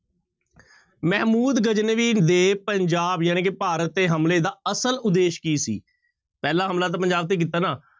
ਮਹਿਮੂਦ ਗਜਨਵੀ ਦੇ ਪੰਜਾਬ ਜਾਣੀ ਕਿ ਭਾਰਤ ਤੇ ਹਮਲੇ ਦਾ ਅਸਲ ਉਦੇਸ਼ ਕੀ ਸੀ, ਪਹਿਲਾ ਹਮਲਾ ਤਾਂ ਪੰਜਾਬ ਤੇ ਕੀਤਾ ਨਾ,